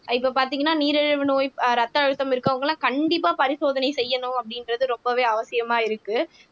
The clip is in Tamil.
இப்ப பார்த்தீங்கன்னா நீரிழிவு நோய் ஆஹ் ரத்த அழுத்தம் இருக்கிறவங்கெல்லாம் கண்டிப்பா பரிசோதனை செய்யணும் அப்படின்றது ரொம்பவே அவசியமா இருக்கு